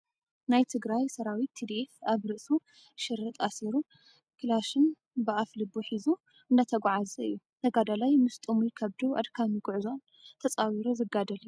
ናይ ትግራይ ሰራዊት ትድኤፍ ኣብ ርእሱ ሽርጥ ኣሲሩ ካላሽን ብኣፍ ልቡ ሒዙ እንዳተጓዓዘ እዩ። ተጋዳላይ ምስ ጡሙይ ከብዱ ኣድካሚ ጉዕዞን ተፃዊሩ ዝጋደል እዩ ።